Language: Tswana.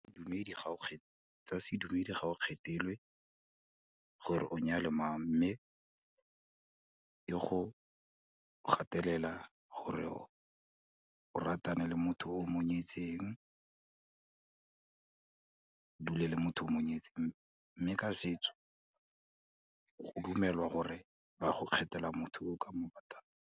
Bodumedi gao , tsa sedumedi ga o kgethelwe gore o nyale mang, mme e go gatelela gore o ratane le motho o monyetseng, o dule le motho o mo nyetseng, mme ka setso go dumelwa gore ba go kgethela motho o ka mo ratang.